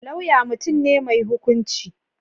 Lauya mutum ne mai hukunci.